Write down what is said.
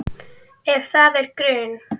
Ef það er grun